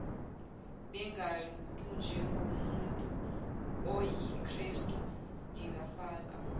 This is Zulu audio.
bengabantunjengomuntu oyikrestu ngingafaka